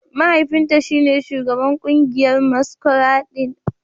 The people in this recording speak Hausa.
Mahaifinta shine Shugaban kungiyar maskuradin